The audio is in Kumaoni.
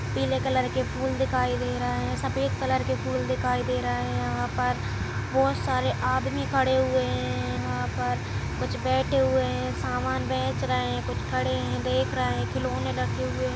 पिले कलर के फूल दिखाई दे रहे हैं सफ़ेद कलर के फूल दिखाई दे रहे है यहाँ पर बहोत सारे आदमी खड़े हुए हैं यहां पर कुछ बेठे हुए हैं सामान बेच रहे हैं कुछ खड़े है देख रहे हैं खिलोने लगे हुए हैं ।